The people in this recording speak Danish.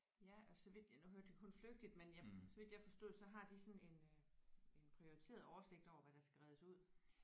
Ja og så vidt ja nu hørte jeg kun flygtigt men jeg så vidt jeg forstod så har de sådan en øh en prioriteret oversigt over hvad der skal reddes ud